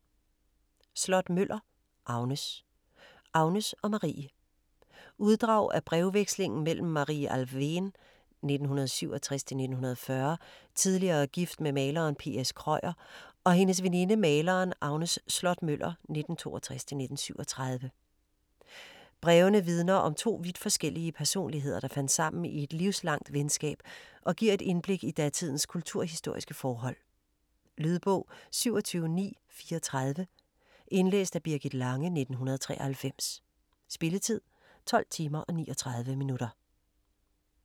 Slott-Møller, Agnes: Agnes og Marie Uddrag af brevvekslingen mellem Marie Alfvén (1867-1940), tidligere gift med maleren P.S. Krøyer og hendes veninde, maleren Agnes Slott-Møller (1862-1937). Brevene vidner om to vidt forskellige personligheder, der fandt sammen i et livslangt venskab og giver et indblik i datidens kulturhistoriske forhold. Lydbog 27934 Indlæst af Birgit Lange, 1993. Spilletid: 12 timer, 39 minutter.